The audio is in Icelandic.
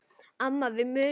Amma við munum.